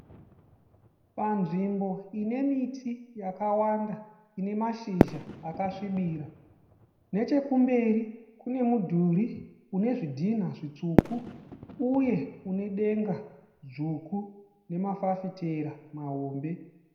Panzvimbo ine miti yakawanda ine mashizha akasvibira. Nechekumberi kune mudhuri une zvidhina zvitsvuku uye une denga dzvuku nemafafitera mahombe.